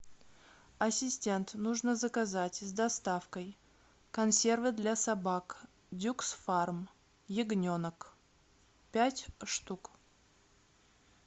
ассистент нужно заказать с доставкой консервы для собак дюкс фарм ягненок пять штук